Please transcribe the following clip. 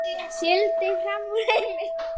Sigldi fram úr henni.